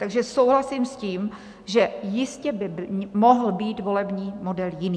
Takže souhlasím s tím, že jistě by mohl být volební model jiný.